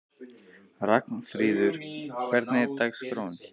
Ragnfríður, hvernig er dagskráin?